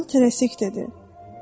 Kral tərəsik dedi: